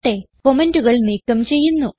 കമന്റുകൾ നീക്കം ചെയ്യുന്നു